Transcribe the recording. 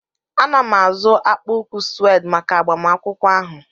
Ana m azụ akpa ụkwụ shụwed maka agbamakwụkwọ ahụ.